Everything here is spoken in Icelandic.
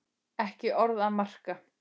Ekki orð að marka.